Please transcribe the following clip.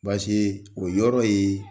o yɔrɔ ye.